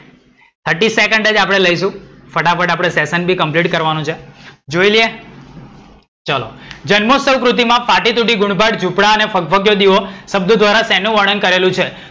thirty second જ આપણે લઈશું. ફટાફટ session આપણે complete બી કરવાનો છે. જોઈ લઈએ. ચલો, જન્મોસ્તવ કૃતિમાં ફાટી તૂટી ગુણ પાદ જુપડા ને ફગફગીઓ દીવો શબ્દો ધ્વારા શેનું વર્ણન કરેલું છે?